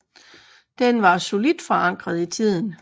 Den var solidt forankret i tiden